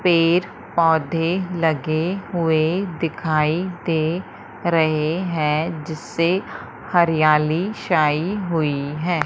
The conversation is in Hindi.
पेड़ पौधे लगे हुए दिखाई दे रहे हैं जिससे हरियाली छाई हुई है।